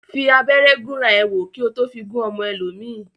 Fi abẹ́rẹ́ gúnra ẹ wò, kí ó tó fi gún ọmọ ẹlòmíì